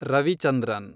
Ravichandran